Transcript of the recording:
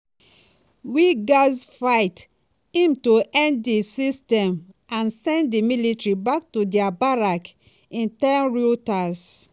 "we gatz fight um to end dis system and send di military back to dia barracks" im tell reuters.